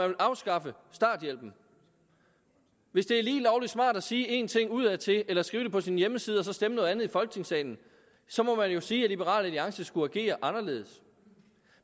vil afskaffe starthjælpen hvis det er lige lovlig smart at sige en ting udadtil eller skrive det på sin hjemmeside og så stemme noget andet i folketingssalen så må man jo sige at liberal alliance skulle agere anderledes